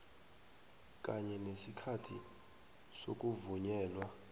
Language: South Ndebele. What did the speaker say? kanye nesikhathi sokuvunyelwa